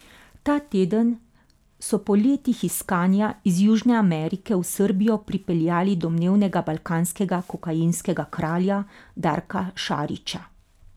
Ta teden so po letih iskanja iz Južne Amerike v Srbijo pripeljali domnevnega balkanskega kokainskega kralja Darka Šarića.